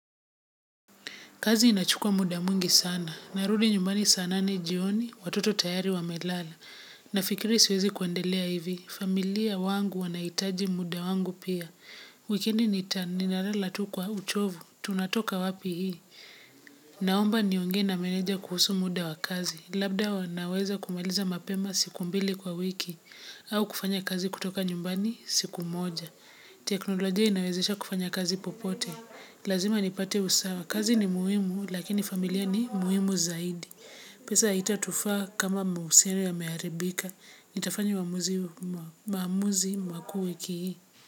Kazi inachukua muda mwingi sana. Narudi nyumbani saa nane jioni, watoto tayari wamelala. Nafikiri siwezi kuendelea hivi. Familia wangu wanaitaji muda wangu pia. Wikendi ninalala tu kwa uchovu. Tunatoka wapi hii. Naomba niongee na meneja kuhusu muda wa kazi. Labda wanaweza kumailiza mapema siku mbili kwa wiki. Au kufanya kazi kutoka nyumbani siku moja. Teknoloji inawezesha kufanya kazi popote. Lazima nipate usawa. Kazi ni muhimu, lakini familia ni muhimu zaidi. Pesa itatufaa kama mahusiono yameharibika. Nitafanya maamuzi makuu wiki hii.